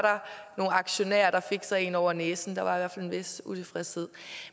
nogle aktionærer der fik sig en over næsen der var i hvert fald en vis utilfredshed